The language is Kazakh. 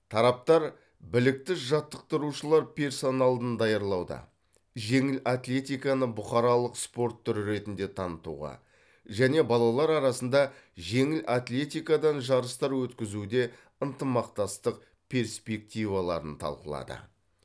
тараптар білікті жаттықтырушылар персоналын даярлауда жеңіл атлетиканы бұқаралық спорт түрі ретінде танытуға және балалар арасында жеңіл атлетикадан жарыстар өткізуде ынтымақтастық перспективаларын талқылады